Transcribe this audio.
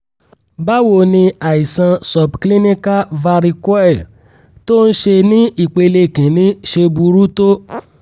báwo ni àìsàn subclinical varicoele tó ń ṣe ní ìpele kinni ṣe burú tó?